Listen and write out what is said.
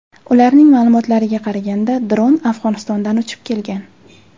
Ularning ma’lumotlariga qaraganda, dron Afg‘onistondan uchib kelgan.